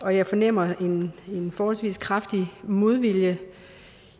jeg fornemmer en forholdsvis kraftig modvilje